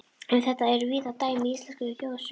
Um þetta eru víða dæmi í íslenskum þjóðsögum.